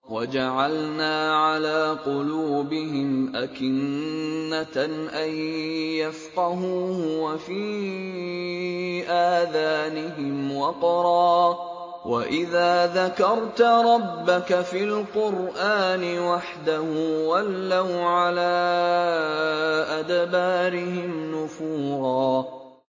وَجَعَلْنَا عَلَىٰ قُلُوبِهِمْ أَكِنَّةً أَن يَفْقَهُوهُ وَفِي آذَانِهِمْ وَقْرًا ۚ وَإِذَا ذَكَرْتَ رَبَّكَ فِي الْقُرْآنِ وَحْدَهُ وَلَّوْا عَلَىٰ أَدْبَارِهِمْ نُفُورًا